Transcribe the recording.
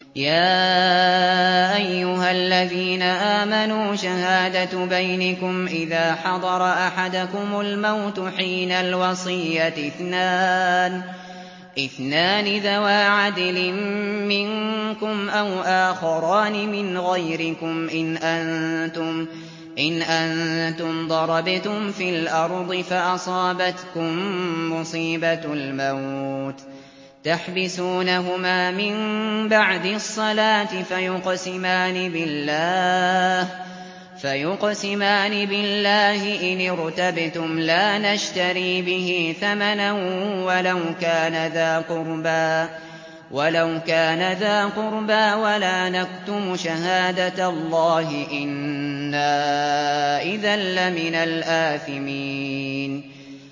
يَا أَيُّهَا الَّذِينَ آمَنُوا شَهَادَةُ بَيْنِكُمْ إِذَا حَضَرَ أَحَدَكُمُ الْمَوْتُ حِينَ الْوَصِيَّةِ اثْنَانِ ذَوَا عَدْلٍ مِّنكُمْ أَوْ آخَرَانِ مِنْ غَيْرِكُمْ إِنْ أَنتُمْ ضَرَبْتُمْ فِي الْأَرْضِ فَأَصَابَتْكُم مُّصِيبَةُ الْمَوْتِ ۚ تَحْبِسُونَهُمَا مِن بَعْدِ الصَّلَاةِ فَيُقْسِمَانِ بِاللَّهِ إِنِ ارْتَبْتُمْ لَا نَشْتَرِي بِهِ ثَمَنًا وَلَوْ كَانَ ذَا قُرْبَىٰ ۙ وَلَا نَكْتُمُ شَهَادَةَ اللَّهِ إِنَّا إِذًا لَّمِنَ الْآثِمِينَ